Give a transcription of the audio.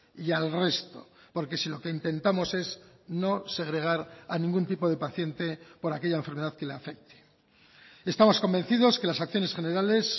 y al resto porque si lo que intentamos es no segregar a ningún tipo de paciente por aquella enfermedad que le afecte estamos convencidos que las acciones generales